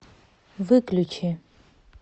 выключи